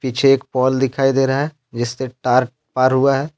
पीछे एक पोल दिखाई दे रहा है जिससे तार पार हुआ है।